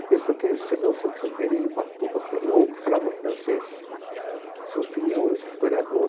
A pessoa que recebeu o Santos Uperi de Ubatuba, que era o único que falava francês, seu filhinho, o historiador,